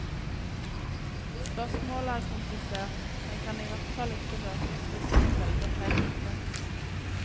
Spørsmålet er komplisert, men kan i hvert fall ikke løses hvis man velger feil utgangspunkt.